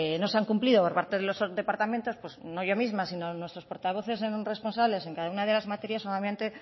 no se han cumplido por parte de los departamentos pues no yo misma sino nuestros portavoces responsables en cada una de las materias